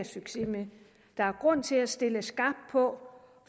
succes med der er grund til at stille skarpt på